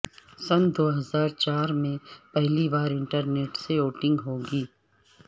سن دوہزار چار میں پہلی بار انٹرنیٹ سے ووٹنگ ہوگی